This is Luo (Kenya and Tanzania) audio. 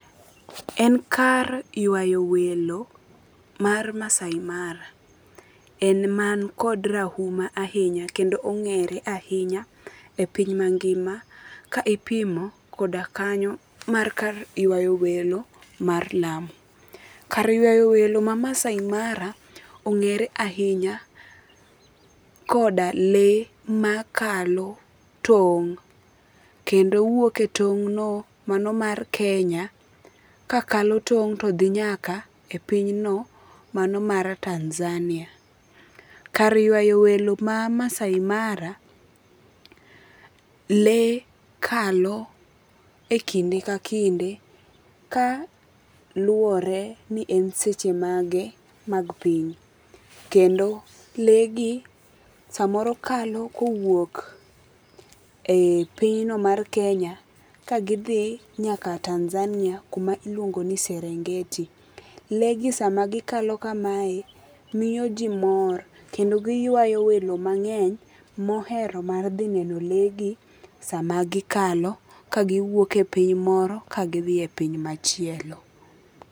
En kar yuwayo welo mar Maasai Mara, en man kod rahuma ahinya kendo ong'ere ahinya e piny mangima ka ipimo koda kanyo mar kar ywayo welo mar Lamu. Kar ywayo welo ma Maasai Mara eng'ere ahinya koda lee makalo tong'. Kendo wuok e tong' no mano mar Kenya ka kalo tong' to dhi nyaka e piny no mano mar Tanzania. Kar ywayo welo ma Maasai Mara lee kalo e kinde ka kinde ka luore ni e seche mage mag piny. Kendo lee gi samoro kalo kowuok e pinyno mar Kenya ka gidhi nyaka Tanzania kuma iluongo ni Serengeti. Lee gi sama gikalo kamae miyo ji mor. Kendo giywayo welo mang'eny mohero mar dhi neno le gi sama gi kalo ka giwuok e piny moro ka gidhi e piny machielo.